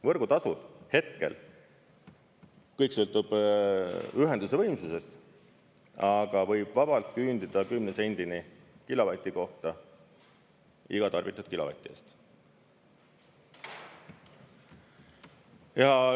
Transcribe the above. Võrgutasu hetkel, kõik sõltub ühenduse võimsusest, aga võib vabalt küündida 10 sendini kilovati kohta iga tarbitud kilovati eest.